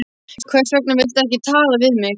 Hvers vegna viltu ekki tala við mig?